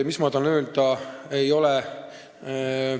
Mis ma tahan öelda?